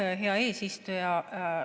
Aitäh, hea eesistuja!